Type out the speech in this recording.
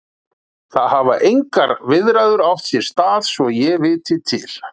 Það hafa engar viðræður átt sér stað svo ég viti til.